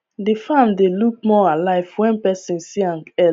the farm dey look more alive when person see am